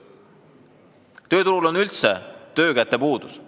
Tööturul on üldse töökäte puudus.